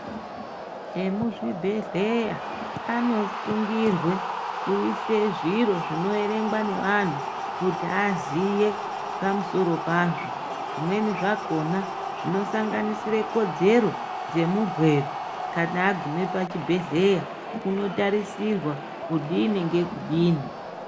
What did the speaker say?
Vemuzvibhedleya anosungirwe kuise zviro zvinoverengwa nevanhu kuti aziye pamsoro pazvo, zvimweni zvakona zvinosanganisire kodzero dzemurwere kana agume pachibhedleya unotarisirwa kudini ngekudini.